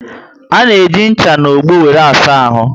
Ana eji ncha na ogbo wéré asa ahụ